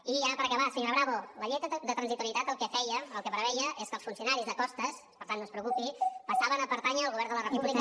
i ja per acabar senyora bravo la llei de transitorietat el que feia el que preveia és que els funcionaris de costes per tant no es preocupi passaven a pertànyer al govern de la república